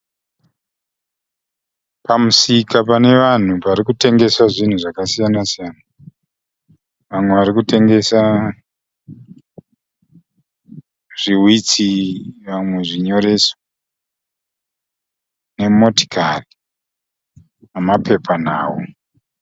Pamusika pane vanhu pari kutengeswa zvinhu zvakasiyana siyana. Vamwe vari kutengesa zvihwitsi vamwe zvinyoreso, nemotokari nemapepanhau.